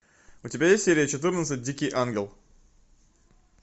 у тебя есть серия четырнадцать дикий ангел